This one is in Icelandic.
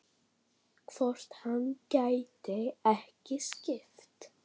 Hvort hann gæti ekki skipt?